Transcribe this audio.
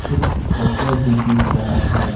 कुछ फोटो भी दिख रहा है।